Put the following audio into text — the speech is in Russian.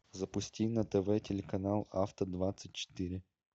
запусти на тв телеканал авто двадцать четыре